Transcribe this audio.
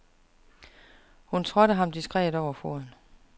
Hun trådte ham diskret over foden.